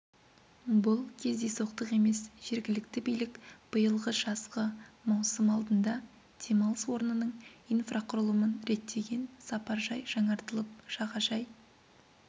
бұл кездейсоқтық емес жергілікті билік биылғы жазғы маусым алдында демалыс орнының инфрақұрылымын реттеген сапаржай жаңартылып жағажай